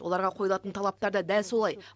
оларға қойылатын талаптар да дәл солай